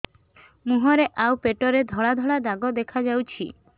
ମୁହଁରେ ଆଉ ପେଟରେ ଧଳା ଧଳା ଦାଗ ଦେଖାଯାଉଛି